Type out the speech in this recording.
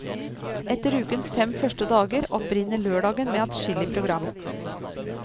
Etter ukens fem første dager opprinner lørdagen med adskillig program.